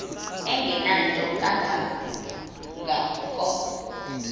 engenanto kanga ko